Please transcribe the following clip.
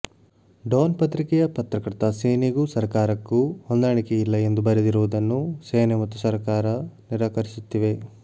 Don ಪತ್ರಿಕೆಯ ಪತ್ರಕರ್ತ ಸೇನೆಗೂ ಸರ್ಕಾರಕ್ಕೂ ಹೊಂದಾಣಿಕೆ ಇಲ್ಲ ಎಂದು ಬರೆದಿರುವುದನ್ನು ಸೇನೆ ಮತ್ತು ಸರ್ಕಾರ ನಿರಾಕರಿಸುತ್ತಿವೆ